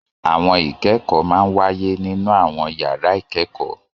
Àwọn ìkẹ́kọ̀ọ́ máa ń wáyé nínú àwọn yàrá ìkẹ́kọ̀ọ́